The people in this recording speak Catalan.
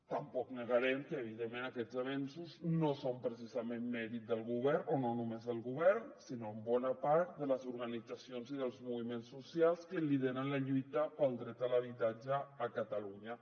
tampoc negarem que evidentment aquests avenços no són precisament mèrit del govern o no només del govern sinó en bona part de les organitzacions i dels moviments socials que lideren la lluita pel dret a l’habitatge a catalunya